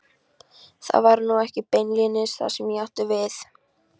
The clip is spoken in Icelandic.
Það var nú ekki beinlínis það sem ég átti við.